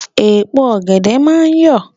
Èpo ọ̀gẹ̀dẹ̀ máa ń yọ̀.